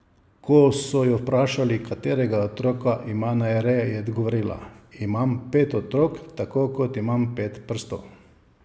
Ko so jo vprašali, katerega otroka ima najraje, je odgovorila: 'Imam pet otrok, tako kot imam pet prstov.